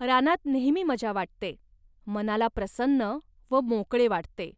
रानात नेहमी मजा वाटते, मनाला प्रसन्न व मोकळे वाटते